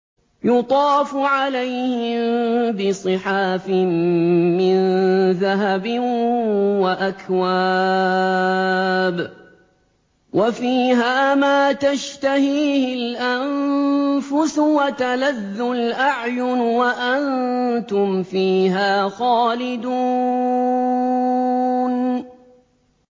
يُطَافُ عَلَيْهِم بِصِحَافٍ مِّن ذَهَبٍ وَأَكْوَابٍ ۖ وَفِيهَا مَا تَشْتَهِيهِ الْأَنفُسُ وَتَلَذُّ الْأَعْيُنُ ۖ وَأَنتُمْ فِيهَا خَالِدُونَ